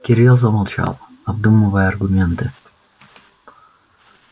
кирилл замолчал обдумывая аргументы